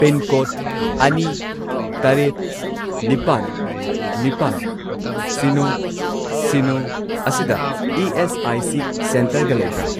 Pincode ꯑꯅꯤ, ꯇꯔꯦꯠ, ꯅꯤꯄꯥꯟ, ꯅꯤꯄꯥꯜ, ꯁꯤꯅꯣ, ꯁꯤꯅꯣ ꯑꯁꯤꯗ ꯏ.ꯑꯦꯁ.ꯑꯥꯏ.ꯁꯤ. ꯁꯦꯟꯇꯔꯒ ꯂꯩꯕ꯭ꯔꯥ?